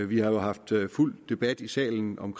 vi har jo haft fuld debat i salen om